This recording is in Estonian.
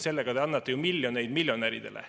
Sellega te annate ju miljoneid miljonäridele.